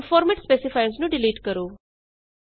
ਹੁਣ format specifiers ਨੂੰ delete ਕਰੋ